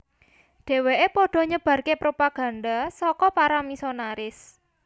Dheweke padha nyebarke propaganda saka para misionaris